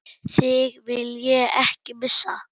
Þig vil ég ekki missa.